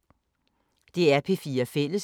DR P4 Fælles